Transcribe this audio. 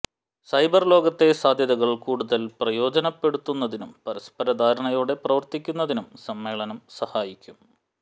cyber ലോകത്തെ സാധ്യതകൾ കൂടുതൽ പ്രയോജനപ്പെടുത്തുന്നതിനും പരസ്പര ധാരണയോടെ പ്രവർത്തിക്കുന്നതിനും സമ്മേളനം സഹായിക്കും